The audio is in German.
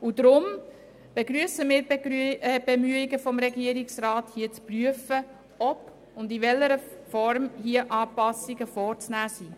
Aus diesem Grund begrüssen wir die Bemühungen des Regierungsrats, wonach er prüft, ob und in welcher Form Anpassungen vorzunehmen sind.